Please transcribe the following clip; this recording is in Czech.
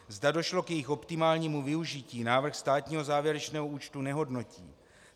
Zda došlo k jejich optimálnímu využití, návrh státního závěrečného účtu nehodnotí.